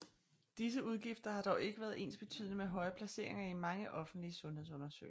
Disse udgifter har dog ikke været ensbetydende med høje placeringer i mange offentlige sundhedsundersøgelser